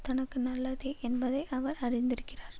தனக்கு நல்லதே என்பதை அவர் அறிந்திருக்கிறார்